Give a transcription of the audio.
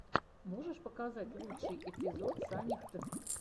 можешь показать лучший эпизод сани хд